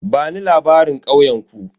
Bani labarin ƙauyen ku?